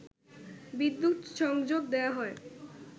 বিদ্যুৎ সংযোগ দেয়া হয়